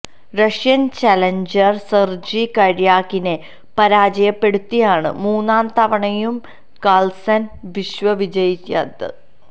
Russian challenger Sergey കര്യാകിനെ പരാജയപ്പെടുത്തിയാണ് മൂന്നാം തവണയും കാള്സന് വിശ്വ വിജയിയായത്